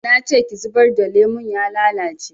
Nace ki zubar da lemon ya lalace